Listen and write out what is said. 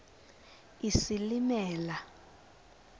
isilimela